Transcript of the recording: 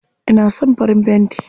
Ina son farin fenti.